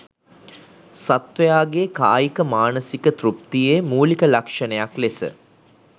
සත්ත්වයාගේ කායික, මානසික, තෘප්තියේ මූලික ලක්ෂණයක් ලෙස